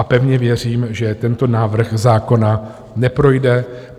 A pevně věřím, že tento návrh zákona neprojde.